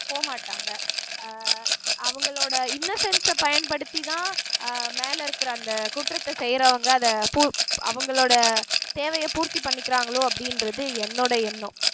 போக மாட்டாங்க அஹ் அவங்களோட innocence அ பயன்படுத்திதான் அஹ் மேலே இருக்கிற அந்த குற்றத்தை செய்யறவங்க அத பூ அவங்களோட தேவையை பூர்த்தி பண்ணிக்கிறாங்களோ அப்படின்றது என்னோட எண்ணம்